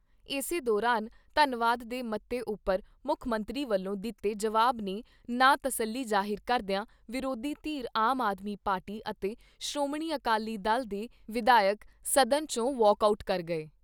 ਇਸੇ ਦੌਰਾਨ ਧੰਨਵਾਦ ਦੇ ਮਤੇ ਉਪਰ ਮੁੱਖ ਮੰਤਰੀ ਵੱਲੋਂ ਦਿੱਤੇ ਜਵਾਬ 'ਤੇ ਨਾ ਤਸੱਲੀ ਜਾਹਿਰ ਕਰਦਿਆਂ ਵਿਰੋਧੀ ਧਿਰ ਆਮ ਆਦਮੀ ਪਾਰਟੀ ਅਤੇ ਸ਼੍ਰੋਮਣੀ ਅਕਾਲੀ ਦਲ ਦੇ ਵਿਧਾਇਕ ਸਦਨ ਚੋਂ ਵਾਕ ਆਊਟ ਕਰ